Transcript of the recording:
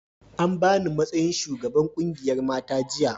an bani matsayin shugaban ƙungiyar mata jiya